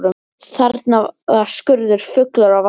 Þarna var skurður fullur af vatni.